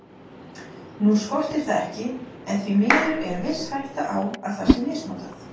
Nú skortir það ekki en því miður er viss hætta á að það sé misnotað.